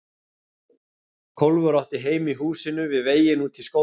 Kólfur og átti heima í húsinu við veginn út í skóginn.